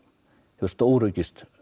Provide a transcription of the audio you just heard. hefur stóraukist